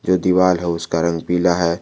जो दीवाल है उसका रंग पीला है।